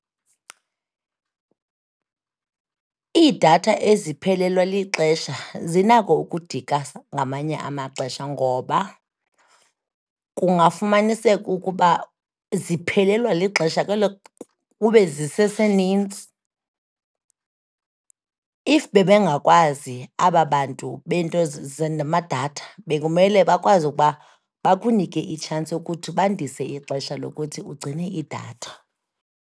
Iidatha eziphelelwa lixesha zinako ukudika ngamanye amaxesha ngoba kungafumaniseka ukuba ziphelelwa lixesha kube zisesenintsi. If bebengakwazi aba bantu beento zamadatha bekumele bakwazi ukuba bakunike itshansi yokuthi bandise ixesha lokuthi ugcine idatha.